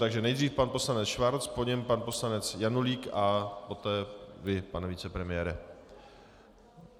Takže nejdřív pan poslanec Schwarz, po něm pan poslanec Janulík a poté vy, pane vicepremiére.